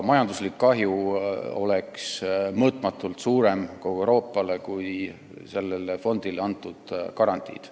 Majanduslik kahju kogu Euroopale olnuks mõõtmatult suurem, kui on sellele fondile antud garantiid.